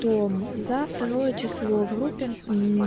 том за второие число в группе